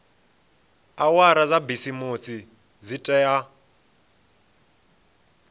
awara dza bisimisi dzi tea